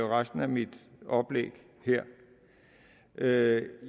resten af mit oplæg her